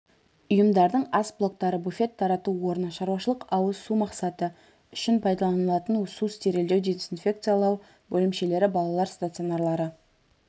ұйымдардың ас блоктары буфет-тарату орны шаруашылық-ауыз су мақсаты үшін пайдаланылатын су стерильдеу дезинфекциялау бөлімшелері балалар стационарлары